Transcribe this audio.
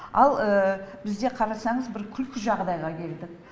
ал бізде қарасаңыз бір күлкі жағдайға келдік